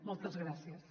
moltes gràcies